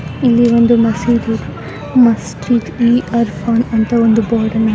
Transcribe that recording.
ಇಲ್ಲಿ ಒಂದು ಮಸೀದಿ. ಮಸ್ಜಿದ್ ಈ ಅರ ಅದ್ ಅಂತ ಬೋರ್ಡ್ ಅನು --